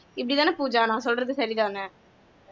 இப்படிதான பூஜா நான் சொல்றது சரிதான